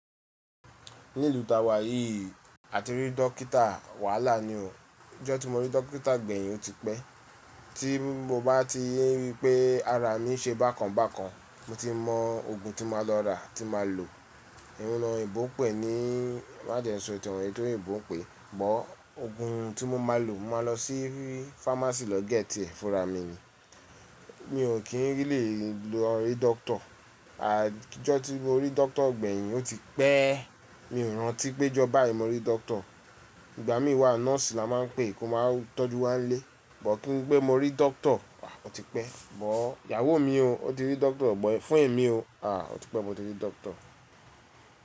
Ní ìlú ta wà yìí, a ti rí dókítà wàhálà ni o. Ọjọ́ tí mo rí dókítà gbẹ̀yin ó ti pẹ́. Tí mo bá ti rí pé ara mi ń ṣe bákan bákan, mo ti mọ ogun tí máa lọ rà tí máa lò. Òun ni eyinbo ń pè ní má jẹ sọ nkan èyí tí eyinbo pẹ́. Ṣùgbọ́n ogun tí mo máa lò, màá lọ sí fámásì lọ gẹ́tì ẹ́ fúnra mi ni. Mi ò kí n lè lọ rí dókítà. Ọjọ́ tí mo rí dókítà gbẹ̀yin ó ti pẹ́. Mi ò rántí pé ọjọ́ báyìí mo rí dókítà. Ìgbà mí wà nọ́ọ̀sì la máa ń pè kí ó máa tọ́jú wa ń lé. Ṣùgbọ́n kí n pé mo rí dókítà, a ó ti pẹ́. Ṣùgbọ́n ìyàwó mi o, ó ti rí dókítà, ṣùgbọ́n fún ẹ̀mí o, a ó ti pẹ́ mo ti rí dókítà.